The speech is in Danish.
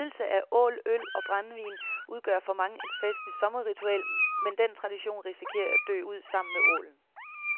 Nydelse af ål, øl og brændevin udgør for mange et festlig sommerritual, men den tradition risikerer at dø ud sammen med ålen.